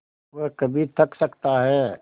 वह कभी थक सकता है